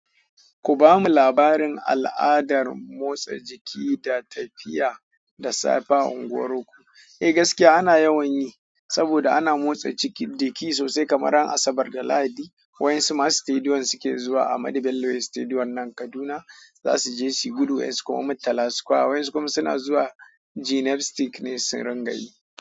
Ku bamu labarin al'adar motsa jiki da tafiya da safe a unguwar ku. Eh gaskiya ana yawan yi saboda ana motsa jiki sosai kamar ran asabar da lahadi. Wa yansu ma stadium suke zuwa Ahmadu Bello stadium nan Kaduna za su je suyi gudu wasu kuma muttala square waƴansu kuma suna zuwa gymnasium ne sun rangayi.